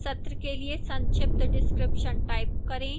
सत्र के लिए संक्षिप्त description type करें